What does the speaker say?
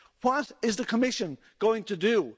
What is the Commission going to do?